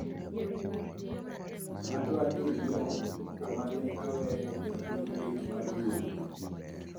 adwa ni inuo kamene aweye e buk lit mar duol